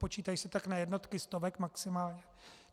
Počítají se tak na jednotky stovek, maximálně.